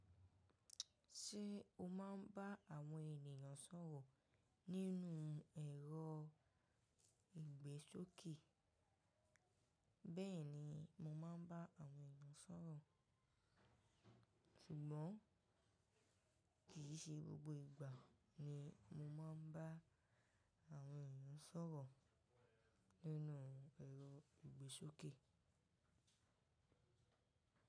Ṣé o máa ń bá àwọn ènìyàn sọ̀rọ̀ nínú ẹ̀rọ ìgbésókè? Bẹ́ẹ̀ni mo máa ń bá àwọn èeyàn sọ̀rọ̀. Ṣùgbọ́n kì í ṣe gbogbo ìgbà ni mo máa ń bá àwọn ènìyàn sọ̀rọ̀ nínú ẹ̀rọ ìgbésókè.